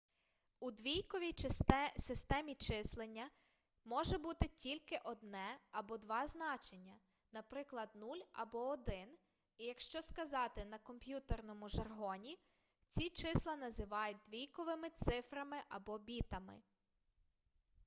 у двійковій системі числення може бути тільки одне або два значення наприклад 0 або 1 і якщо сказати на комп'ютерному жаргоні ці числа називають двійковми цифрами або бітами